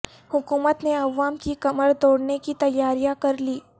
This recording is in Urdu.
حکومت نے عوام کی کمر توڑنے کی تیاریاں کرلیں